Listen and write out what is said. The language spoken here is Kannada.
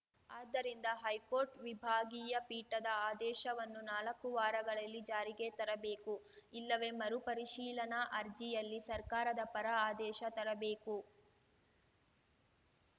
ಆದ್ದರಿಂದ ಹೈಕೋರ್ಟ್‌ ವಿಭಾಗೀಯ ಪೀಠದ ಆದೇಶವನ್ನು ನಾಲಕ್ಕು ವಾರಗಳಲ್ಲಿ ಜಾರಿಗೆ ತರಬೇಕು ಇಲ್ಲವೇ ಮರು ಪರಿಶೀಲನಾ ಅರ್ಜಿಯಲ್ಲಿ ಸರ್ಕಾರದ ಪರ ಆದೇಶ ತರಬೇಕು